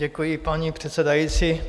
Děkuji, paní předsedající.